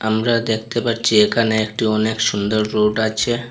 আমরা দেখতে পারছি এখানে একটি অনেক সুন্দর রোড আছে।